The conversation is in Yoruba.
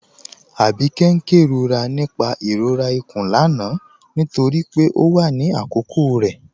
Abikẹ̀'s n kẹrọra nípà ìrọ̀rà ikún lánà nítorí pé ọ wà ní àkókò rẹ